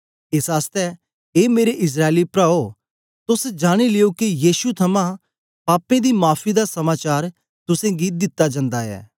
एस आसतै ए मेरे इस्राएली प्राओ तोस जानी लियो के यीशु थमां पापें दी माफी दा समाचार तुसेंगी दित्ता जन्दा ऐ